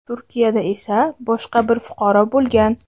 Turkiyada esa boshqa bir fuqaro bo‘lgan.